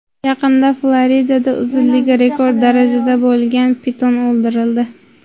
Yaqinda Floridada uzunligi rekord darajada bo‘lgan piton o‘ldirildi.